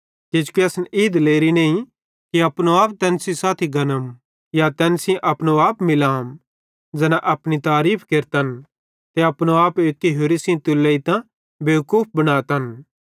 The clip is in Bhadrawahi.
किजोकि असन ई दिलेरी नईं कि अपनो आप तैन सेइं साथी गनम या तैन सेइं अपनो आप मिलाम ज़ैना अपनी तारीफ़ केरतन ते अपनो आप एक्की होरि सेइं तुलोइतां बेवकूफ बन्तन